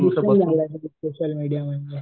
Social media म्हणजे.